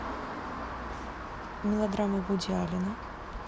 мелодрамы вуди аллена